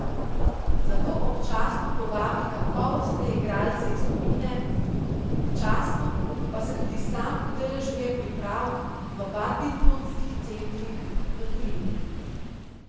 Zato občasno povabi kakovostne igralce iz tujine, občasno pa se tudi sam udeležuje priprav v badmintonskih centrih v tujini.